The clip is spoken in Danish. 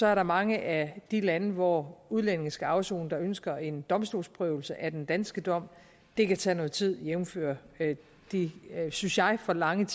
er der mange af de lande hvor udlændinge skal afsone der ønsker en domstolsprøvelse af den danske dom og det kan tage noget tid jævnfør de synes jeg for lange